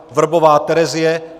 Vrbová Terezie